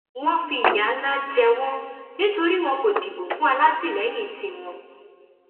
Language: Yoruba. wọn fìyà ńlá jẹ wọn nítorí wọn kò dìbò fún alátìlẹyìn tiwọn